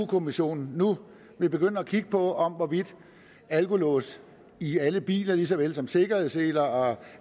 kommissionen nu vil begynde at kigge på hvorvidt alkolås i alle biler lige så vel som sikkerhedsseler og